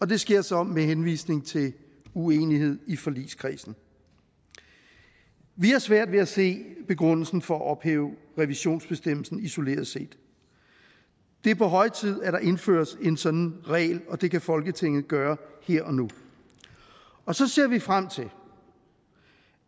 det sker så med henvisning til uenighed i forligskredsen vi har svært ved at se begrundelsen for at ophæve revisionsbestemmelsen isoleret set det er på høje tid at der indføres en sådan regel og det kan folketinget gøre her og nu og så ser vi frem til